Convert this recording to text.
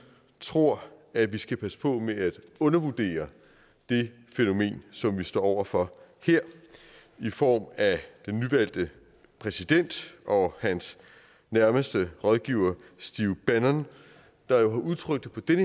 tror at vi skal passe på med at undervurdere det fænomen som vi står over for her i form af den nyvalgte præsident og hans nærmeste rådgiver stephen bannon der jo har udtrykt det på den